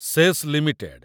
cess limited